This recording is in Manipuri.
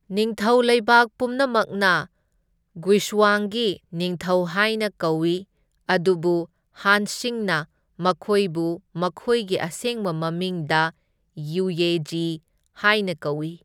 ꯅꯤꯡꯊꯧ ꯂꯩꯕꯥꯛ ꯄꯨꯝꯅꯃꯛꯅ ꯒꯨꯏꯁꯋꯥꯡꯒꯤ ꯅꯤꯡꯊꯧ ꯍꯥꯢꯅ ꯀꯧꯏ, ꯑꯗꯨꯕꯨ ꯍꯥꯟꯁꯤꯡꯅ ꯃꯈꯣꯢꯕꯨ ꯃꯈꯣꯏꯒꯤ ꯑꯁꯦꯡꯕ ꯃꯃꯤꯡ, ꯗꯥ ꯌꯨꯌꯦꯓꯤ ꯍꯥꯢꯅ ꯀꯧꯏ꯫